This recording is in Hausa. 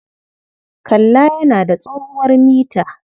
Kalla yana da tsohuwar mita.